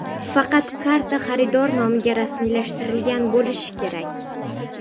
Faqat karta xaridor nomiga rasmiylashtirilgan bo‘lishi kerak.